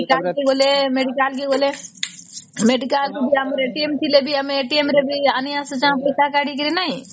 cap କୁ ଗଲେ medical କୁ ଗଲେ medical ଥି ଭି ବି ଥିଲେ ଆମେ ରେ ବି ଆଣି ଅସୁଛେ ପଇସା କଢ଼ିକିରି ନାଇଁ